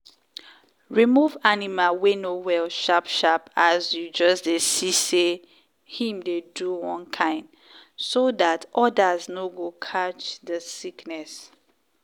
remove animal wey no well sharp sharp as you just dey see say him dey do one kain so dat others no go catch the sickness.